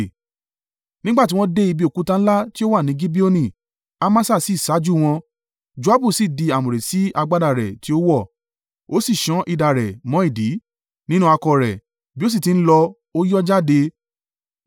Nígbà tí wọ́n dé ibi òkúta ńlá tí ó wà ní Gibeoni, Amasa sì ṣáájú wọn, Joabu sì di àmùrè sí agbádá rẹ̀ tí ó wọ̀, ó sì sán idà rẹ̀ mọ́ ìdí, nínú àkọ̀ rẹ̀, bí ó sì ti ń lọ, ó yọ́ jáde.